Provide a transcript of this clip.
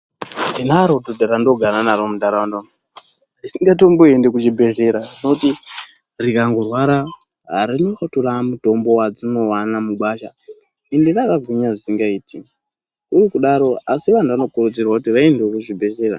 Ndinaro dhodha randinogara naro muntaraunda muno umu, risingaendi kuchibhedhlera. Rinoti riakngorwara rototora mutombo watinowana mugwasha ende rakagwinya zvisingaiti. Uye kudaro, asi vantu vanokurudzirwa kuti vaendewo kuzvibhedhlera.